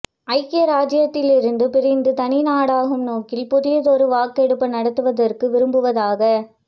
ஐக்கிய ராஜ்ஜியத்தில் இருந்து பிரிந்து தனி நாடாகும் நோக்கில் புதியதொரு வாக்கெடுப்பு நடத்துவதற்கு விரும்புவதாக